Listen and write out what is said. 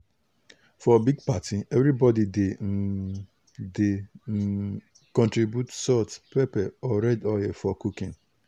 for big party everybody dey um dey um contribute salt pepper or red oil for cooking.